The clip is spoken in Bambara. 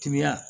Kiya